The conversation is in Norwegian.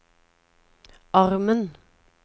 armen